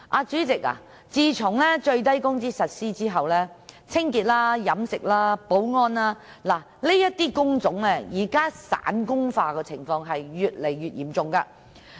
主席，自從實施最低工資後，清潔、飲食、保安等工種散工化的情況越來越嚴重。